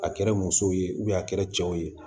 A kɛra musow ye a kɛra cɛw ye